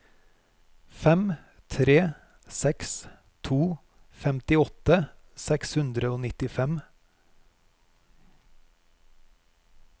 fem tre seks to femtiåtte seks hundre og nittifem